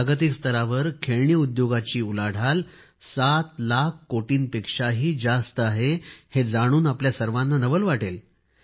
जागतिक स्तरावर खेळणी उद्योगाची उलाढाल सात लाख कोटींपेक्षाही जास्त आहे हे जाणून आपल्या सर्वांना नवल वाटेल